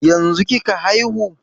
Yanzun kika haihu?